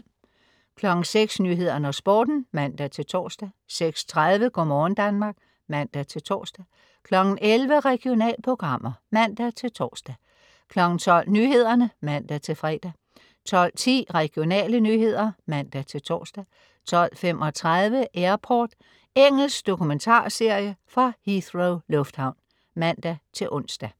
06.00 Nyhederne og Sporten (man-tors) 06.30 Go' morgen Danmark (man-tors) 11.00 Regionalprogrammer (man-tors) 12.00 Nyhederne (man-fre) 12.10 Regionale nyheder (man-tors) 12.35 Airport. Engelsk dokumentarserie fra Heathrow lufthavn (man-ons)